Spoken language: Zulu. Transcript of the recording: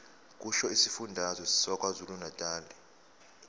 kusho isifundazwe sakwazulunatali